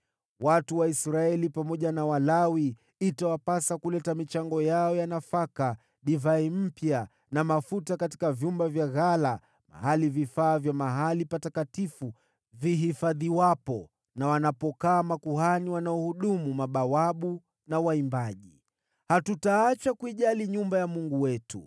Watu wa Israeli pamoja na Walawi itawapasa kuleta michango yao ya nafaka, divai mpya na mafuta katika vyumba vya ghala, mahali vifaa vya mahali patakatifu vinapohifadhiwa, na wanapokaa makuhani wanaohudumu, na mabawabu na waimbaji. “Hatutaacha kuijali nyumba ya Mungu wetu.”